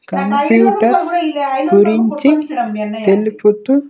Computers గురించి తెలుపుతూ.